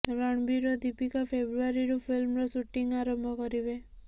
ରଣବୀର ଓ ଦୀପିକା ଫେବୃଆରୀରୁ ଫିଲ୍ମର ଶୁଟିଂ ଆରମ୍ଭ କରିବେ